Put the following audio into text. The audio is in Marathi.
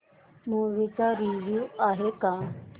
मूवी चा रिव्हयू काय आहे